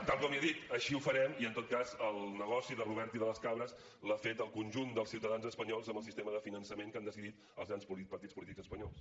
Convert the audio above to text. tal com li he dit així ho farem i en tot cas el negoci de robert i de les cabres l’ha fet el conjunt dels ciutadans espanyols amb el sistema de finançament que han decidit els grans partits polítics espanyols